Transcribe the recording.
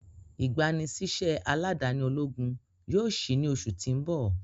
igbanisiṣẹ aladani ologun yoo ṣii ni oṣu ti n bọ.